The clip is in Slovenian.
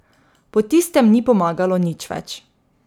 Po tistem ni pomagalo nič več.